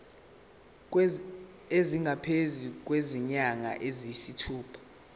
esingaphezu kwezinyanga eziyisithupha